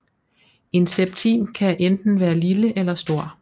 En septim kan enten være lille eller stor